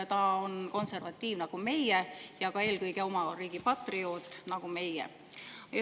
Ta on konservatiiv nagu meie ja on eelkõige oma riigi patrioot nagu meie.